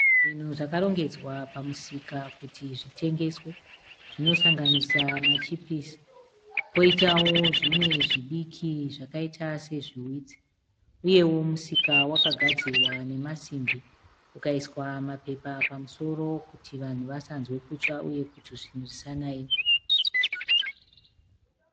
Zvinhu zvakarongedzwa pamusika kuti zvitengeswe. Zvinosanganisira machipisi, poitawo zvimwe zvidiki zvakaita sezviwitsi. Uyewo musika wakagadzirwa nemasimbi ukaiswa mapepa pamusoro kuti vanhu vasanzwe kutsva uye kuti zvinhu zvisanaiwe